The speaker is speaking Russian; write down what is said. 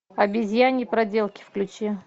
обезьяньи проделки включи